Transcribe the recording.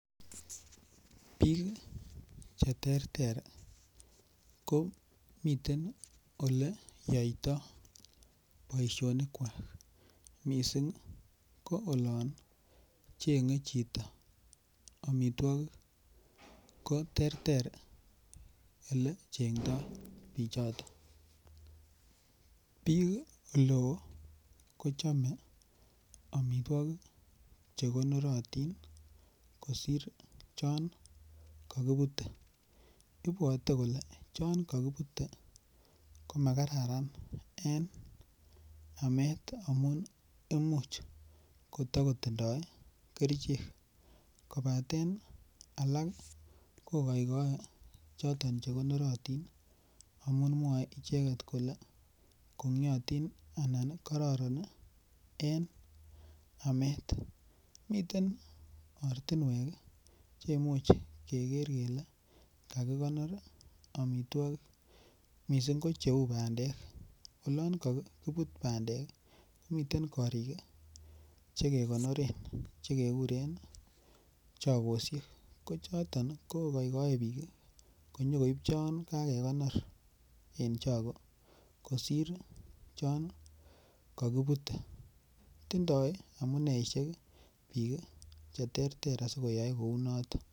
Bik cheterter ko miten oleyoito boisyonik kwak mising ko olon chenge chito amitwokik, koterter olechengdoi pichoton, bik eleo kochame amitwokik chekonoratin kosir chon kakibute ,ibwate kole chon kakibute komakararan eng amamet amun imuch kotakotindo kerichek kobaten alak kokaikae choton chekonorotin amun mwae icheket kole kongyatin anan karoron eng amet , miten ortinwek cheimuche keger kele kakikonor amitwokik, mising ko cheu bandek olon kakibute bandek , miten korik chekekonoren chekekuren chakosyek ko choton ko kaikai bik konyokoib chon kakekonor eng chako kosir chon kakibute, tindoi amuneisyek bik cheterter asikoyai kouniton.